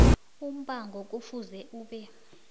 umbango kufuze ube